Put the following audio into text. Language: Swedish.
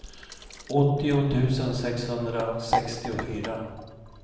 åttio tusen sexhundrasextiofyra